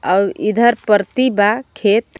आऊ इधर परती बा खेत।